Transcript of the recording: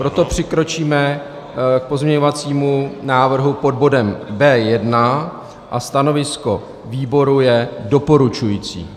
Proto přikročíme k pozměňovacímu návrhu pod bodem B1. Stanovisko výboru je doporučující.